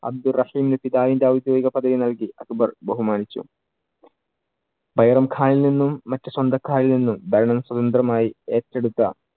അബ്ദു റഹീം ഔദ്യോഗിക പദവി നൽകി അക്ബർ ബഹുമാനിച്ചു. ബൈരം ഖാനിൽ നിന്നും മറ്റു സ്വന്തക്കാരിൽ നിന്നും ഭരണം സ്വതന്ത്രമായി ഏറ്റെടുത്ത